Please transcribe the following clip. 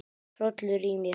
Hrollur í mér.